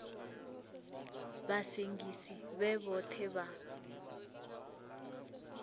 vha sengisi vhe vhoṱhe vha